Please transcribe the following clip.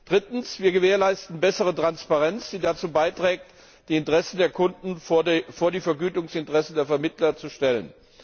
Drittens gewährleisten wir bessere Transparenz, die dazu beiträgt, die Interessen der Kunden vor die Vergütungsinteressen der Vermittler zu stellen.